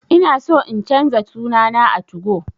Ina so in canza suna na a 2go